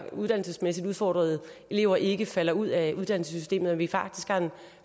uddannelsesmæssigt udfordrede elever ikke falder ud af uddannelsessystemet og at vi faktisk har en